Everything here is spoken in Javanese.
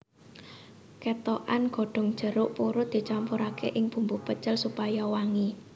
Kethokan godhong jeruk purut dicampuraké ing bumbu pecel supaya wangi